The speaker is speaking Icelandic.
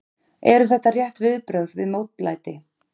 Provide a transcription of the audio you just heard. Eru þetta rétt viðbrögð við mótlæti?